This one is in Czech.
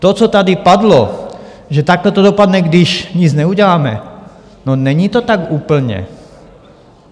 To, co tady padlo, že takhle to dopadne, když nic neuděláme - no, není to tak úplně.